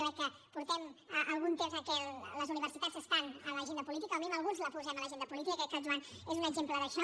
jo crec que portem algun temps en què les universitats estan a l’agenda política o com a mínim alguns les posem a l’agenda política i crec que el joan és un exemple d’això